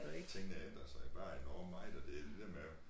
Og det tingene ændrer sig bare enormt meget og det det dér med